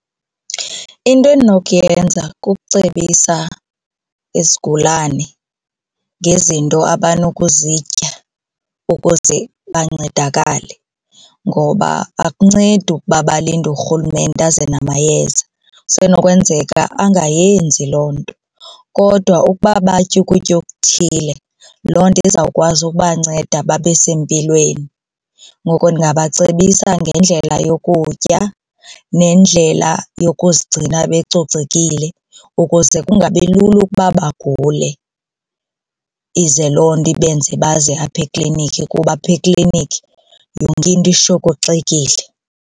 Into endinokuyenza kucebisa isigulane ngezinto abanokuzitya ukuze bancedakale ngoba akuncedi ukuba balinde uRhulumente aze namayeza, kusenokwenzeka angayenzi loo nto. Kodwa ukuba batye ukutya okuthile, loo nto izawukwazi ukubanceda babe sempilweni. Ngoko ndingabacebisa ngendlela yokutya nendlela yokuzigcina becocekile ukuze kungabi lula ukuba bagule ize loo nto ibenze baze apha eklinikhi kuba apha eklinikhi yonke into ishokoxekile.